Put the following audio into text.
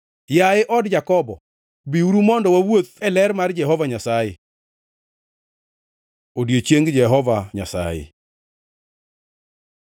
Yaye od Jakobo, biuru mondo wawuoth e ler mar Jehova Nyasaye. Odiechieng Jehova Nyasaye